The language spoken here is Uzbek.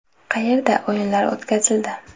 Qayerda?” o‘yinlari o‘tkazildi.